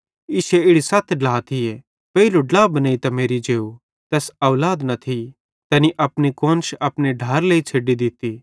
इश्शे इड़ी सत ढ्ला थिये पेइले ड्ला बनेइतां मेरि जेव तैस औलाद न थी तैनी अपनी कुआन्श अपने ढ्लाएरे लेइ छ़ेड्डी दित्ती